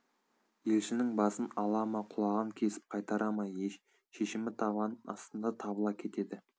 елшінің басын ала ма құлағын кесіп қайтара ма шешімі табан астында табыла кетеді